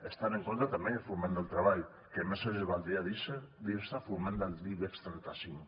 hi estan en contra també foment del treball que més els valdria dir se foment de l’ibex trenta cinc